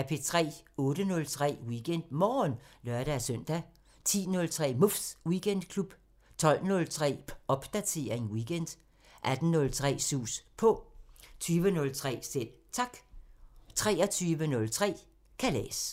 08:03: WeekendMorgen (lør-søn) 10:03: Muffs Weekendklub 12:03: Popdatering weekend 18:03: Sus På 20:03: Selv Tak 23:03: Kalas